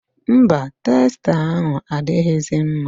Mba, testa ahụ adịghịzi mma.